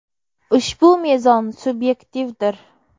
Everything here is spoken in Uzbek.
Ushbu mezon subyektivdir.